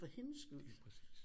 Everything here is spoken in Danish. For hendes skyld